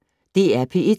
DR P1